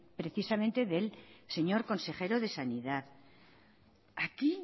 precisamente del señor consejero de sanidad aquí